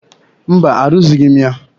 Mba, arụzighị m ya.